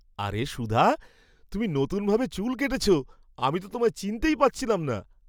আরে সুধা, তুমি নতুনভাবে চুল কেটেছো! আমি তো তোমায় চিনতেই পারছিলাম না!